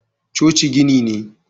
coci gini ne